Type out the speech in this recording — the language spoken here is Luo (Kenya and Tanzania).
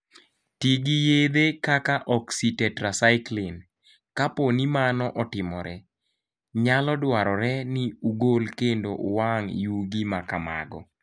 Ti gi yedhe kaka oxytetracycline. Kapo ni mano otimore, nyalo dwarore ni ugol kendo uwang' yugi ma kamago.